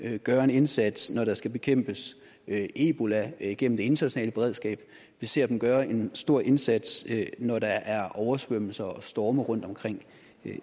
gøre en indsats når der skal bekæmpes ebola igennem det internationale beredskab vi ser dem gøre en stor indsats når der er oversvømmelser og storme rundtomkring